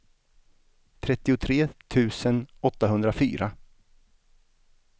trettiotre tusen åttahundrafyra